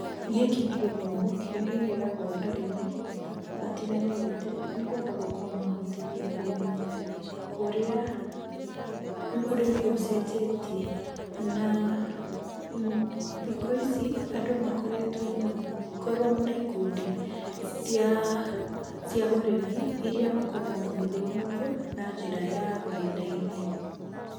Gĩkĩ nĩ gĩthomo kĩrĩa kĩheagũo arĩmi matiganĩte nĩgetha gũkamahotithia kũmenya ũria ũrĩmi ũcenjetie na, thikũ ici andũ makoretwo magĩkorwo na ikũndi ciaa cia ũrĩmi irĩa makoragwo magĩthomithio na njĩra ya ng'enda-inĩ.